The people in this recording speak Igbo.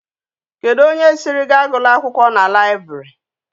Kedu onye siri gi agula akwukwo na library?